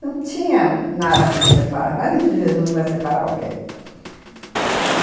Não tinha nada que nos separasse, imagina se Jesus vai separar alguém, uhum.